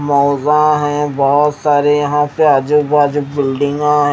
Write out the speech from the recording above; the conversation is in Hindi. मोजा है बहुत सारे यहां पे आजू बाजू बिल्डिंगा है।